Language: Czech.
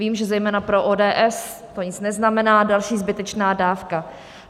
Vím, že zejména pro ODS to nic neznamená, další zbytečná dávka.